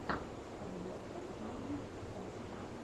подборка мэджик касл